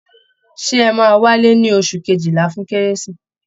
Ṣé ẹ̀ máa wálé ní oṣù kejìlá fún kérésì?